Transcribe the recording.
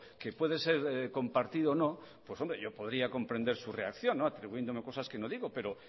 que puede ser compartido o no pues yo podría comprender su reacción atribuyéndome cosas que no digo pero